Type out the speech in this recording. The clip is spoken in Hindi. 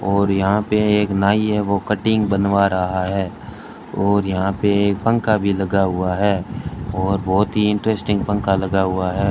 और यहां पे एक नाई है वो कटिंग बनवा रहा है और यहां पे एक पंखा भी लगा हुआ है और बहुत ही इंटरेस्टिंग पंखा लगा हुआ है।